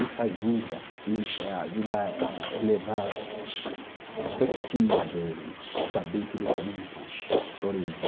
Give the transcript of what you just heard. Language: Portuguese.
Isso ajuda ele eh ah, ajuda a elevar autoestima dele, saber que ele tem uma origem.